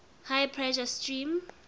high pressure steam